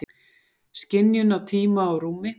Skynjun á tíma og rúmi?